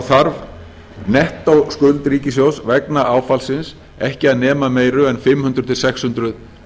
þarf nettóskuld ríkissjóðs vegar áfallsins ekki að nema meiru en fimm hundruð til sex hundruð